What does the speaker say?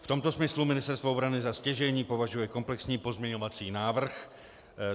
V tomto smyslu Ministerstvo obrany za stěžejní považuje komplexní pozměňovací návrh.